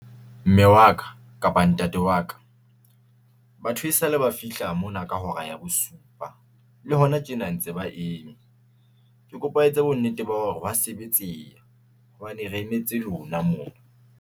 Mme wa ka kapa ntate wa ka batho e sale ba fihla mona ka hora ya bosupa le hona tjena ntse ba eme. Ke kopa o etse bonnete ba hore ha sebetseha hobane re emetse lona mona.